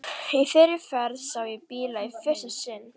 Í þeirri ferð sá ég bíla í fyrsta sinn.